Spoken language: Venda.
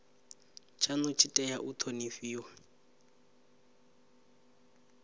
tshanu tshi tea u thonifhiwa